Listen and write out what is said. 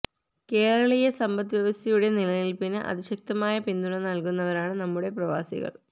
കേരളീയ സമ്പദ് വ്യവസ്ഥയുടെ നിലനിൽപ്പിന് അതിശക്തമായ പിന്തുണ നൽകുന്നവരാണ് നമ്മുടെ പ്രവാസികൾ